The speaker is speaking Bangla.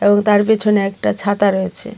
ও তার পেছনে একটা ছাতা রয়েছে।